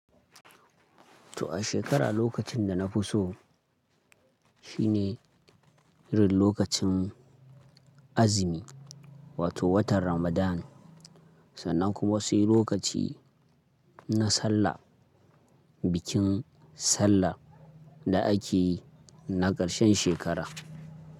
To a shekara lokacin da na fi so shine rin lokacin azumi wato watan Ramadan sannan kuma wasu lokaci na Sallah, bikin Sallah da ake yi na karshen shekara.